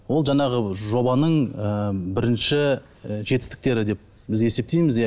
ол жаңағы жобаның ы бірінші і жетістіктері деп біз есептейміз иә